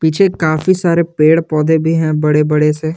पीछे काफी सारे पेड़ पौधे भी हैं बड़े बड़े से।